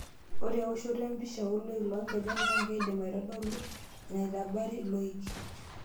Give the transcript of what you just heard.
Ore ewoshoto empisha ooloik loonkejek naa keidim aitodolu enetaabare loik.